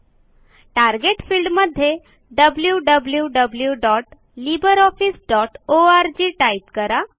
target field मध्ये wwwlibreofficeorg type करा